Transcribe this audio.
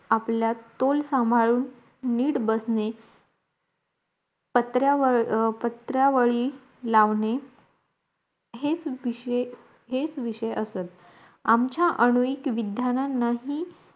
आपल्या तोल सांभाळून निट बसणे पत्रावर् पत्रावळी लावणे हेच बिशे हेच विषय असत आमचा अन्वेक विध्यांनानाही